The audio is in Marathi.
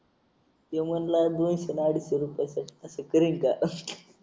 त्यो म्हणला दोनशे न अडीचशे रुपयात असं करीन का